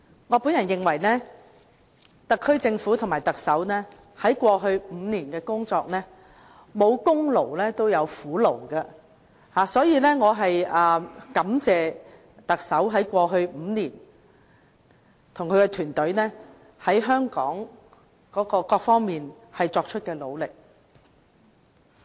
我認為，特區政府與特首在過去5年的工作中，即使沒有功勞，也有苦勞，所以，我感謝特首及其團隊在過去5年對香港各方面作出的努力。